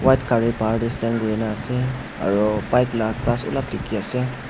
white gare bhar tey stand kuri kena ase aro bike la glass ulob dekhe ase.